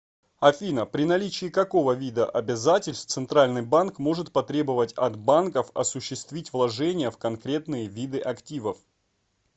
афина при наличии какого вида обязательств центральный банк может потребовать от банков осуществить вложения в конкретные виды активов